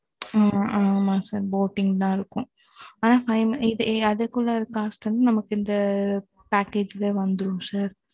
ஆ ஆமா sir boating தான் இருக்கும். அதுக்குள்ள cost வந்து நமக்கு இந்த, package ல வந்துரும் sir